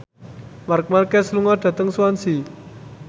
Marc Marquez lunga dhateng Swansea